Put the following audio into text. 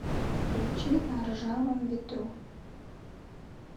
включи на ржавом ветру